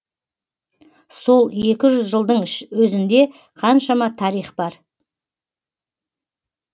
сол екі жүз жылдың өзінде қаншама тарих бар